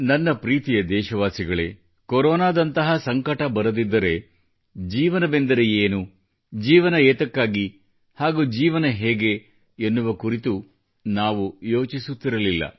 ನನ್ನ ಪ್ರೀತಿಯ ದೇಶವಾಸಿಗಳೇ ಕೊರೋನಾದಂಥ ಸಂಕಟ ಬರದಿದ್ದರೆ ಜೀವನವೆಂದರೆ ಏನು ಜೀವನ ಯಾತಕ್ಕಾಗಿ ಹಾಗೂ ಜೀವನ ಹೇಗೆ ಎನ್ನುವ ಕುರಿತು ನಾವು ಯೋಚಿಸುತ್ತಿರಲಿಲ್ಲ